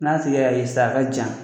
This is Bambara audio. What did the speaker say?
N'a tigi y'a ye sisan a ka jan